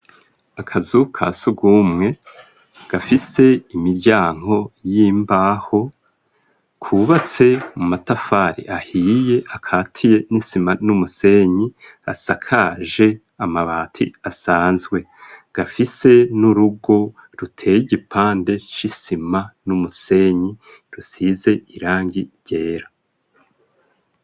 Akazu ka sugumwe gafise imiryango y'imbaho kubatse mu matafari ahiye akaziye n'isima n'umusenyi asakaje amabati asanzwe gafise n'urugo ruteye igipande c'isima n'umusenyi rusize irangi ryera.